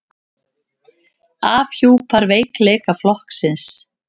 Afhjúpar veikleika flokksins